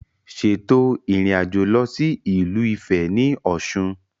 Ṣètò ìrìnàjò lọ sí ìlú Ifẹ̀ ní Ọ̀ṣun